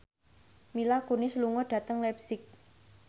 Mila Kunis lunga dhateng leipzig